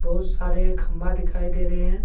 ओ सारे खम्बा दिखाई दे रहे हैं।